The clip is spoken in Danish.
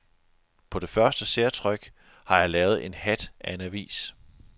På det første særtryk har jeg lavet en hat af en avis.